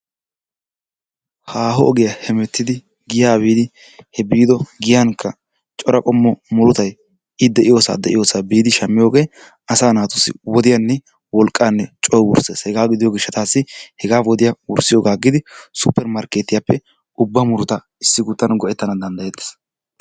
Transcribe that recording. Haaho ogiya hemettidi giyaa biidi he biido giyankka cora qommo murutay i de'iyosaa de'iyossa biidi shampiyoogee asaa naaatussi wodiyanne wolqanne coo wursees hegaa gidiyo gishshataasi wodiya wursiyogaa agidi supper markeettiyappe ubba murutaa issi kuttan go'etana danddayetees.